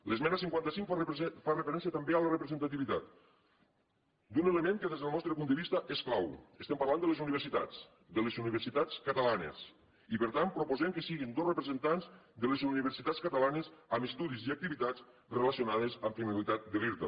l’esmena cinquanta cinc fa referència també a la representativitat d’un element que des del nostre punt de vista és clau estem parlant de les universitats de les universitats catalanes i per tant proposem que siguin dos representants de les universitats catalanes amb estudis i activitats relacionades amb finalitats de l’irta